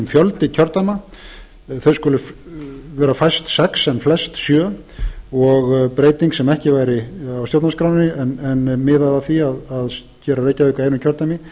tiltekinn þau skulu vera fæst sex en flest sjö og breyting sem ekki væri á stjórnarskránni en miðar að því að gera reykjavík að einu kjördæmi